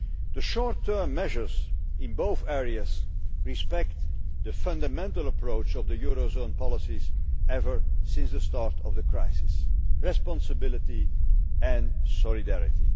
The short term measures in both areas respect the fundamental approach of the eurozone's policies ever since the start of the crisis responsibility and solidarity.